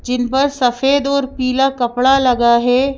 जिन पर सफेद और पीला कपड़ा लगा है।